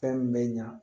Fɛn min bɛ ɲa